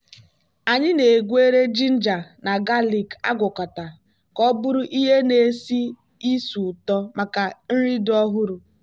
anyị na-egweri ginger na galik agwakọta ka ọ bụrụ ihe na-esi ísì ụtọ maka nri dị ọhụrụ.